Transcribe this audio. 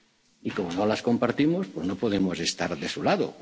que no compartimos. Y como no las compartimos, no